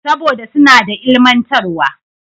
Saboda suna da ilimantarwa.